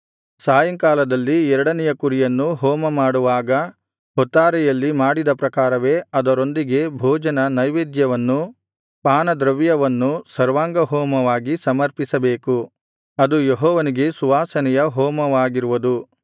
ಸಾಯಂಕಾಲದಲ್ಲಿ ಎರಡನೆಯ ಕುರಿಯನ್ನು ಹೋಮಮಾಡುವಾಗ ಹೊತ್ತಾರೆಯಲ್ಲಿ ಮಾಡಿದ ಪ್ರಕಾರವೇ ಅದರೊಂದಿಗೆ ಭೋಜನ ನೈವೇದ್ಯವನ್ನೂ ಪಾನದ್ರವ್ಯವನ್ನೂ ಸರ್ವಾಂಗಹೋಮವಾಗಿ ಸಮರ್ಪಿಸಬೇಕು ಅದು ಯೆಹೋವನಿಗೆ ಸುವಾಸನೆಯ ಹೋಮವಾಗಿರುವುದು